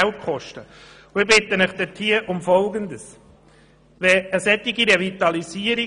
Es geht hier um die Revitalisierung.